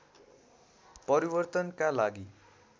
परिर्वतनका लागि